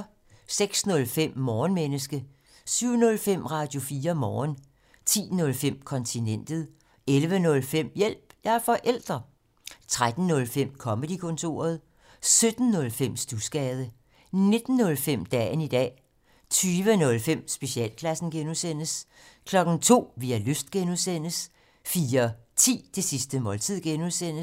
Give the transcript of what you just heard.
06:05: Morgenmenneske 07:05: Radio4 Morgen 10:05: Kontinentet 11:05: Hjælp – jeg er forælder! 13:05: Comedy-kontoret 17:05: Studsgade 19:05: Dagen i dag 20:05: Specialklassen (G) 02:00: Vi har lyst (G) 04:10: Det sidste måltid (G)